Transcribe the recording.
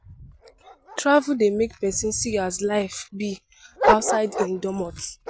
Travel dey make pesin see as life be outside im domot.